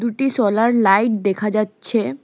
দুটি solar light দেখা যাচ্ছে।